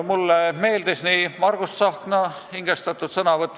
Mulle meeldis Margus Tsahkna hingestatud sõnavõtt.